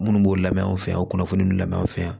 Minnu b'o lamɛn anw fɛ yan o kunnafoni ninnu lamɛn anw fɛ yan